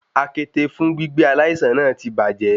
Àkéte fún gbígbé aláìsàn náà ti bàjẹ́.